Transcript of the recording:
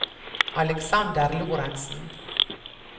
Aleksander Lorentsen